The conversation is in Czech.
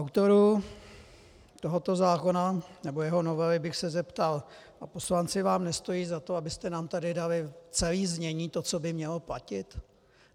Autorů tohoto zákona nebo jeho novely bych se zeptal: A poslanci vám nestojí za to, abyste nám tady dali celé znění toho, co by mělo platit?